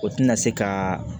O tina se ka